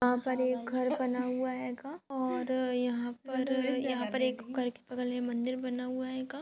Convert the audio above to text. यहाँ पर एक घर बना हुआ हेंगा और यहाँ पर एक अगलबगल में मंदिर बना हुआ हेंगा।